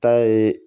Ta ye